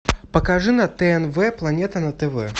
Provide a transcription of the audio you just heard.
покажи на тнв планета на тв